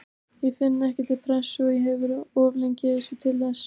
Ég finn ekki til pressu, ég hef verið of lengi í þessu til þess.